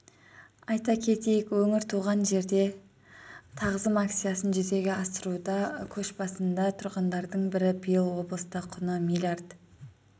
айта кетейік өңір туған жерге тағзым акциясын жүзеге асыруда көшбасында тұрғандардың бірі биыл облыста құны миллиард